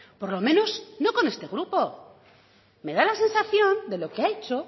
por lo menos no con este grupo me da la sensación de lo que ha hecho